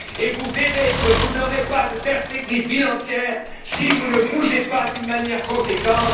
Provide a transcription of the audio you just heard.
Vous verrez que vous n'aurez pas de perspectives financières si vous ne bougez pas d'une manière conséquente.